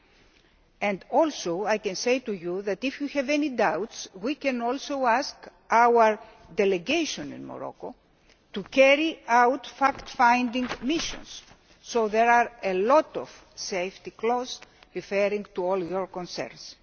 I may also say to you that, if we have any doubts, we can also ask our delegation in Morocco to carry out fact finding missions. So there are a lot of safety clauses referring to all your concerns.